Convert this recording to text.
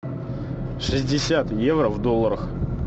шестьдесят евро в долларах